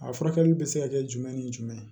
A furakɛli bɛ se ka kɛ jumɛn ni jumɛn ye